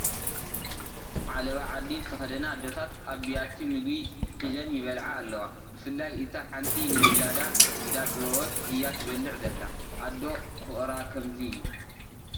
ዓለባ ዓዲ ዝተኸደና ኣዶታት ኣብ ቢያቲ ምግቢ ሒዘን ይበልዓ ኣለዋ፡፡ ብፍላይ እታ ሓንቲ ንውላዳ እንዳጥበወት እያ ትበልዕ ዘላ፡፡ ኣዶ ፍቕራ ከምዚ እዩ፡፡